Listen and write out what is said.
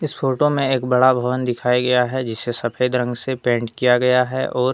इस फोटो में एक बड़ा भवन दिखाया गया है जिसे सफेद रंग से पेंट किया गया है और--